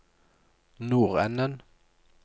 nordenden